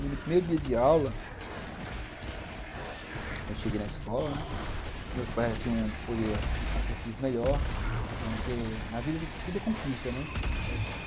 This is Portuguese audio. E no primeiro dia de aula, eu cheguei na escola, né, meus pais já tinham um poder aquisitivo melhor, porque na vida tudo é conquista, né.